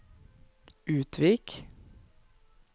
Utvik